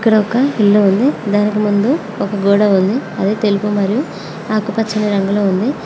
ఇక్కడ ఓక ఇల్లు ఉంది దానికి ముందు గోడ ఉంది అది తెలుపు మరియు ఆకుప్చ రంగులో ఉంది.